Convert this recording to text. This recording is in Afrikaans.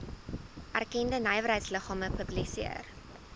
erkende nywerheidsliggame publiseer